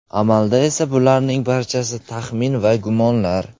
Amalda esa bularning barchasi taxmin va gumonlar.